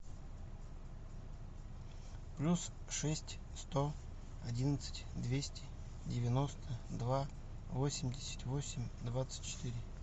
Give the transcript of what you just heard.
плюс шесть сто одиннадцать двести девяносто два восемьдесят восемь двадцать четыре